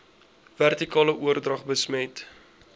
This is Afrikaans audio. vertikale oordrag besmet